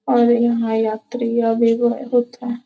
और यहाँ यात्रियाँ भी बहुत हैं।